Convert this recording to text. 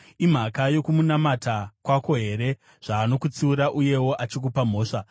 “Imhaka yokumunamata kwako here zvaanokutsiura uyewo achikupa mhosva?